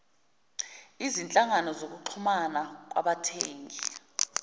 izinhlangano zokuxhumana kwabathengi